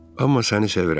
Amma səni sevirəm.